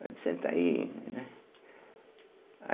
senta aí, né.